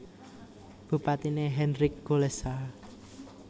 Bupatiné Henryk Kulesza